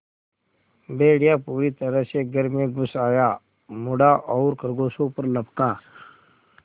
भेड़िया पूरी तरह से घर में घुस आया मुड़ा और खरगोशों पर लपका